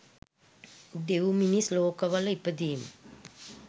දෙවි, මිනිස් ලෝකවල ඉපදීම